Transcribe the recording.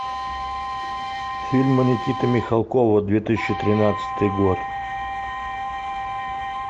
фильмы никиты михалкова две тысячи тринадцатый год